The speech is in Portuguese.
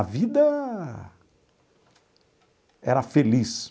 A vida era feliz.